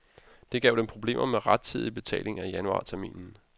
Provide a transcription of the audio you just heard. Det gav dem problemer med rettidig betaling af januarterminen.